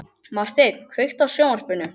Marteinn, kveiktu á sjónvarpinu.